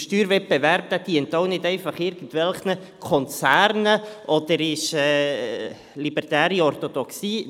Der Steuerwettbewerb dient auch nicht einfach irgendwelchen Konzernen oder ist eine libertäre Orthodoxie.